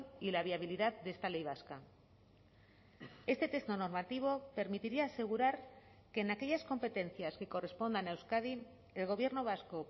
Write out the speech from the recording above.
y la viabilidad de esta ley vasca este texto normativo permitiría asegurar que en aquellas competencias que correspondan a euskadi el gobierno vasco